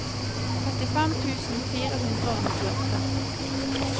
trettifem tusen fire hundre og nittiåtte